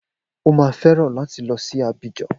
O má fẹ́ràn láti lọ sí Abidjan